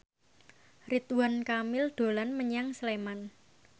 Ridwan Kamil dolan menyang Sleman